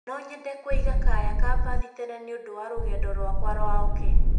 No nyende kũiga kaya ka mbathi tene nĩ ũndũ wa rũgendo rwakwa rwa oke